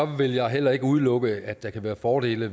vil jeg heller ikke udelukke at der kan være fordele